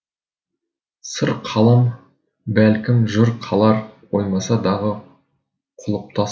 сыр қалар бәлкім жыр қалар қоймаса дағы құлыптас